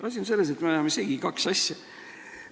Asi on selles, et me ajame segi kaks asja.